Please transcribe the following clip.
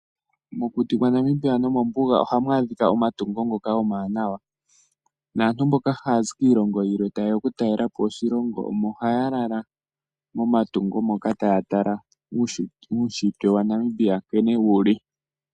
Mokuti kwa Namibia nomombuga ohamu adhika omatungo ngoka omawanawa, naantu mboka haya zi kiilongo yilwe taye ya okutalelapo oshilongo omo haya lala momatunho moka, taya tala uushitwe wa Namibia nkene wu li.